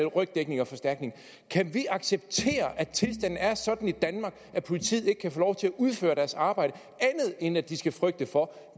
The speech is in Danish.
rygdækning og forstærkning kan vi acceptere at tilstanden er sådan i danmark at politiet ikke kan få lov til at udføre deres arbejde uden at de skal frygte for